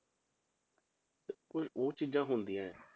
ਤੇ ਕੋਈ ਹੋਰ ਚੀਜ਼ਾਂ ਹੁੰਦੀਆਂ ਹੈ,